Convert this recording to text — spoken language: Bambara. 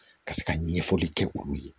Ka se ka ɲɛfɔli kɛ olu ye